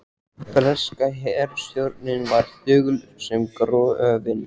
Breska herstjórnin var þögul sem gröfin.